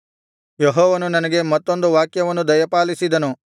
ಯೆಹೋವನು ನನಗೆ ಮತ್ತೊಂದು ವಾಕ್ಯವನ್ನು ದಯಪಾಲಿಸಿದನು